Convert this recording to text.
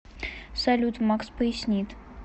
салют макс пояснит